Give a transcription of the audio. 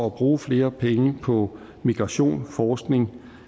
at bruge flere penge på migration forskning